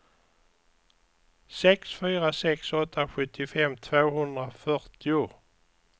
sex fyra sex åtta sjuttiofem tvåhundrafyrtio